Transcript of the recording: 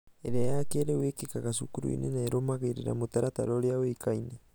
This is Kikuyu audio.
ĩrĩa ya kĩrĩu ĩkikaga cukuruinĩ na ĩrumagĩrĩra mũtaratara ũria ũĩkaine.